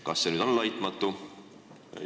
Kas see on laitmatu?